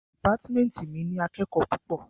Dìpátmẹ́ntì mi ní akẹ́kòó púpọ̀.